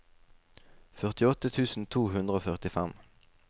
førtiåtte tusen to hundre og førtifem